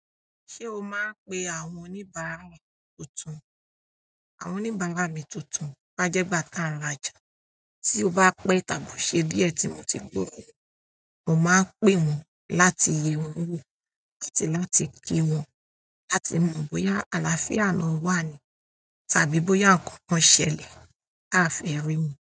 Ṣé o máa ń pe àwọn oníbàárà ẹ tuntun? Àwọn oníbàárà mi tuntun bá jẹ́ gbà tá n rá ja, tí o bá pẹ́ tàbí o ṣe díẹ̀ tí mo ti gbohun wọ́n, mo máa n pè wọ́n láti yẹ wón wo àti láti ki wọ́n láti mọ̀ bóyá àlàáfíà náà wà ní tàbí bóyá nǹkan kan ṣẹlẹ̀ ta a fi ríwọn.